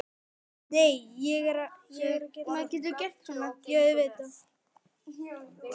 Þögnin er þykk og djúp.